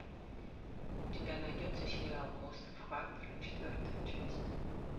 у тебя найдется сериал остров харпера четвертая часть